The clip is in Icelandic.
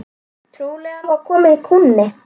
Trúlega var kominn kúnni.